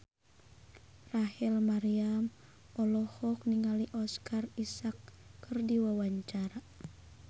Rachel Maryam olohok ningali Oscar Isaac keur diwawancara